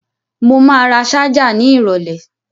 Mo ma ra ṣájà ní ìrọ̀lẹ́